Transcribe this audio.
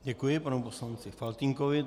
Děkuji panu poslanci Faltýnkovi.